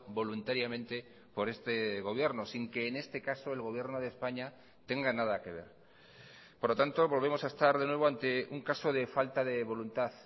voluntariamente por este gobierno sin que en este caso el gobierno de españa tenga nada que ver por lo tanto volvemos a estar de nuevo ante un caso de falta de voluntad